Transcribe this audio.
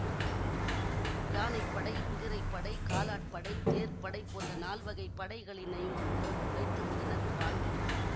யானை படை குதிரை படை காலாட்படை தேர் படை போன்ற நால்வகைப் படைகளினையும் வைத்திருந்தனர் பாண்டியர்